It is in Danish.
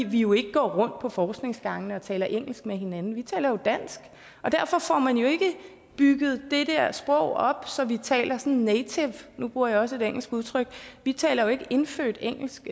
vi jo ikke går rundt på forskningsgangene og taler engelsk med hinanden vi taler jo dansk og derfor får man jo ikke bygget det der sprog op så vi taler native nu bruger jeg også et engelsk udtryk vi taler jo ikke indfødt engelsk